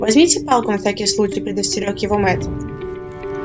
возьмите палку на всякий случай предостерёг его мэтт